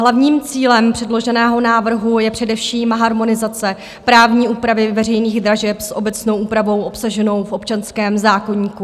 Hlavním cílem předloženého návrhu je především harmonizace právní úpravy veřejných dražeb s obecnou úpravou obsaženou v občanském zákoníku.